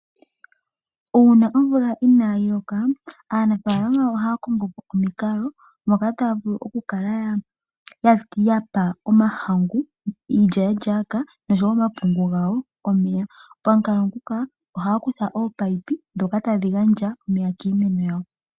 Uuna omvula inayi loka aanafalama ohaya kongo po omikalo moka taya vulu okukala ya pa omahangu, iilyaalyaaka nosho wo omapungu gawo omeya. Pamukalo nguka ohaya kutha opayipi ndhoka tadhi kala dha pa iimeno omeya.